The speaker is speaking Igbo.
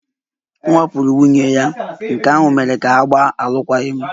Ọ wakporo nwunye ya, nke ahụ mere ka ha gbaa alụkwaghịm